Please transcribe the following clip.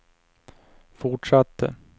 fortsatte